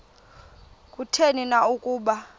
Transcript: kutheni na ukuba